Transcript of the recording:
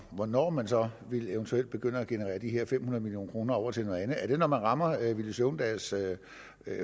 hvornår man så eventuelt vil begynde at generere de her fem hundrede million kroner over til noget andet er det når man rammer villy søvndals